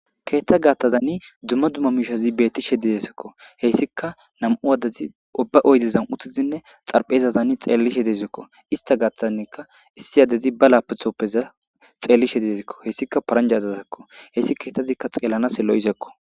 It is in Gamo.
Keeththa gaattazani dumma dumma miishazi beettishe didesekko heyssika nam7u addezi obba oydezam7utizinne xarphezatani xeellishe desekko ista gaaththazaneka issi adezi ba lapethoppeza xeellishe didezekko hessika paranja azazekko heyssi keethazikka xeellanas ello7isekko.